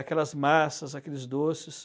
aquelas massas, aqueles doces.